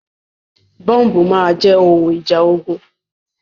Bọ́ǹbù máa jẹ́ ohun ìjà ogun.